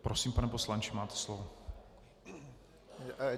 Prosím, pane poslanče, máte slovo.